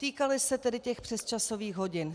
Týkaly se tedy těch přesčasových hodin.